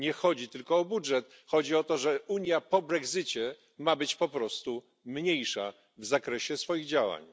Nie chodzi tylko o budżet, lecz o to, że Unia po brexicie ma być po prostu mniejsza w zakresie swoich działań.